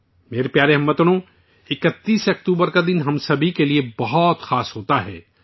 میرے پیارے ہم وطنو، 31 اکتوبر کا دن ہم سبھی کے لیے بہت خاص ہوتا ہے